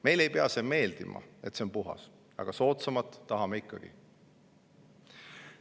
Meile ei pea meeldima, et see on puhas, aga soodsamat tahame ikkagi.